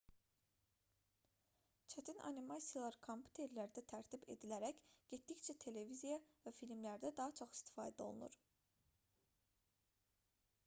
çətin animasiyalar kompüterlərdə tərtib edilərək getdikcə televiziya və filmlərdə daha çox istifadə olunur